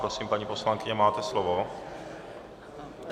Prosím, paní poslankyně, máte slovo.